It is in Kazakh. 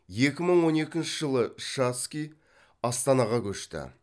екі мың он екінші жылы шацкий астанаға көшті